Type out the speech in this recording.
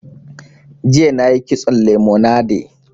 Jiya na yi kitson lemonade